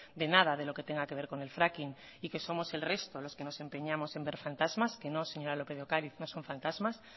de nada de lo que tenga que ver con el fracking y que somos el resto los que nos empeñamos en ver fantasmas que no señora lópez de ocariz no son fantasmas